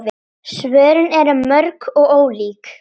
Svörin eru mörg og ólík.